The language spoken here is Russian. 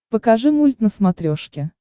покажи мульт на смотрешке